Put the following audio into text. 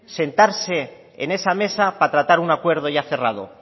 sentarse en esa mesa para tratar un acuerdo ya cerrado